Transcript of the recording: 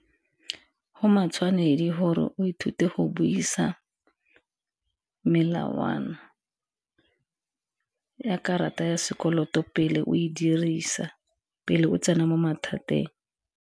Go matshwanedi gore o ithute go buisa melawana ya karata ya sekoloto pele o e dirisa, pele o tsena mo mathateng.